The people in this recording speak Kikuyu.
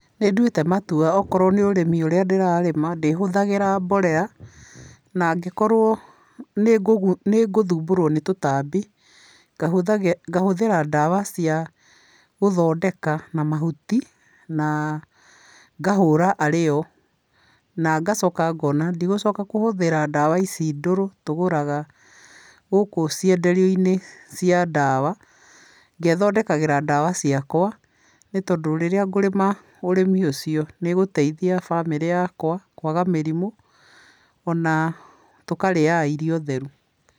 Nĩ ndatuĩte matua okorwo nĩ ũrĩmi ũrĩa ndĩrarĩma ndĩhũthagĩra mborera, na angĩkorwo nĩ ngũthũmborwo nĩ tũtambi ngahũthĩra ndawa cia gũthondĩka na mahũti na ngahũra arĩyo. Na ngacoka ngona ndigũcoka kũhũthĩra ndawa ici ndũrũ tũgũraga gũkũ cĩenderio-inĩ cia ndawa, ngethondekagĩra ndawa ciakwa, nĩ tondũ rĩrĩa ngũrĩma ũrĩmi ũcio nĩgũteithia bamĩrĩ yakwa kwaga mĩrimũ ona tũkarĩaga irio theru.